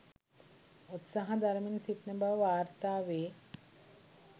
උත්සාහ දරමින් සිටින බව වාර්තා වේ.